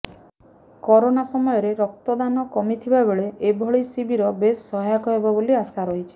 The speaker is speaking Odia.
କରୋନା ସମୟରେ ରକ୍ତ ଦାନ କମିଥିବା ବେଳେ ଏଭଳି ଶିବିର ବେଶ୍ ସହାୟକ ହେବ ବୋଲି ଆଶା ରହିଛି